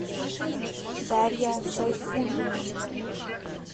дарья сайфуллина